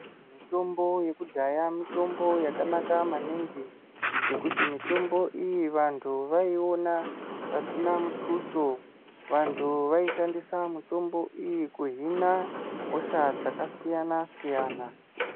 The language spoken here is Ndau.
Mitombo yekudhaya mitombo yakanaka maningi nekuti mitombo iyi vantu vaiona pasina mutuso vantu vaishandisa mitombo iyi kuhina hosha dzakasiyana siyana.